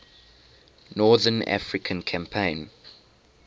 north african campaign